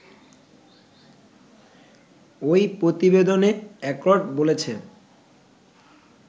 ওই প্রতিবেদনে অ্যাকর্ড বলছে